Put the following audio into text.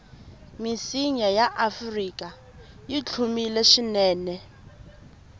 misinya yaafrika yihlumile swinene